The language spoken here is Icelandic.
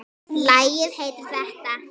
Lagið heitir þetta.